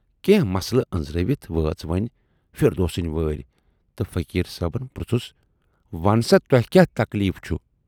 کینہہ مسلہٕ ٲنزرٲوِتھ وٲژ وۅنۍ فِردوسِن وٲرۍ تہٕ فقیٖر صٲبن پرژھُس وَن سا تۄہہِ کیاہ تکلیٖف چھُ؟